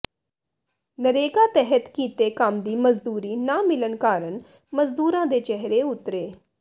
ਨਰੇਗਾ ਤਹਿਤ ਕੀਤੇ ਕੰਮ ਦੀ ਮਜ਼ਦੂਰੀ ਨਾ ਮਿਲਣ ਕਾਰਨ ਮਜ਼ਦੂਰਾਂ ਦੇ ਚਿਹਰੇ ਉਤਰੇ